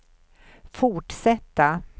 fortsätta